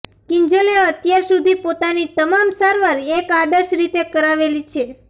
કિંજલે અત્યાર સુધી પોતાની તમામ સારવાર એક આદર્શ રીતે કરાવેલી છે